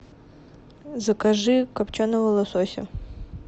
закажи копченого лосося